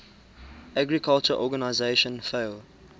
agriculture organization fao